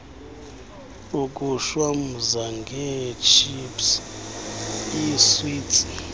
ukushwamza ngeetships iiswiti